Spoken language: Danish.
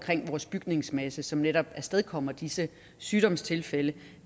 vores bygningsmasse som netop afstedkommer disse sygdomstilfælde